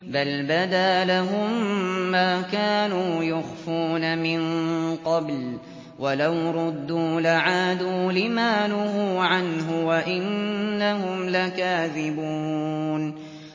بَلْ بَدَا لَهُم مَّا كَانُوا يُخْفُونَ مِن قَبْلُ ۖ وَلَوْ رُدُّوا لَعَادُوا لِمَا نُهُوا عَنْهُ وَإِنَّهُمْ لَكَاذِبُونَ